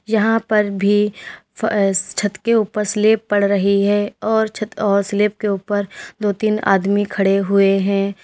यहां पर भी अह छत के ऊपर स्लेप पड़ रही है और छत और स्लेप के ऊपर दो तीन आदमी खड़े हुए हैं।